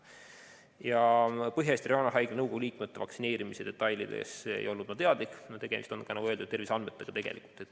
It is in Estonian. Ja Põhja-Eesti Regionaalhaigla nõukogu liikmete vaktsineerimise detailidest ma ei olnud teadlik, kuna tegemist on, nagu öeldud, terviseandmetega.